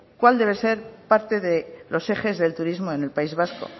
cuál debe ser parte de los ejes del turismo en el país vasco